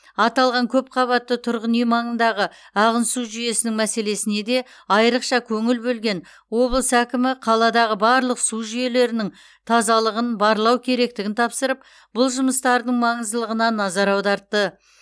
аталған көпқабатты тұрғын үй маңындағы ағын су жүйесінің мәселесіне де айрықша көңіл бөлген облыс әкімі қаладағы барлық су жүйелерінің тазалығын барлау керектігін тапсырып бұл жұмыстардың маңыздылығына назар аудартты